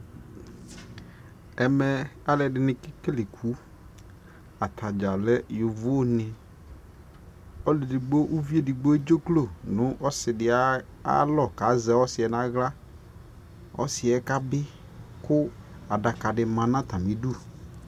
ɛmɛ alʋɛdini kɛkɛlɛ ikʋ, atagya lɛ yɔvɔ ni, ɔlʋ ɛdigbɔ, ʋvi ɛdigbɔ ɛtdzʋklɔ nʋ ɔsiidi ayi alɔ kʋ azɛ ɔsiiɛ nʋ ala, ɔsiiɛ kabi kʋ adaka di manʋ atami idʋ